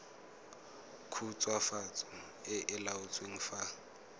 khutswafatso e e laotsweng fa